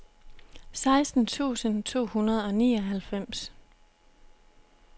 seksten tusind to hundrede og nioghalvfems